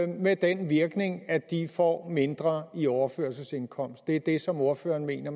med den virkning at de får mindre i overførselsindkomst er det det som ordføreren mener